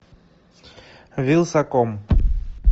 вилсаком